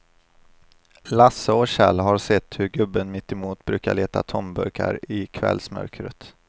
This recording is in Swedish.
Lasse och Kjell har sett hur gubben mittemot brukar leta tomburkar i kvällsmörkret.